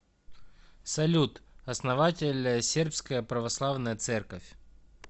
салют основатель сербская православная церковь